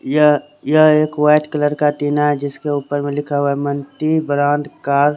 यह यह एक वाइट कलर का टीना है जिसके ऊपर लिखा है मल्टी ब्रांड कार --